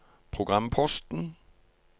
programposten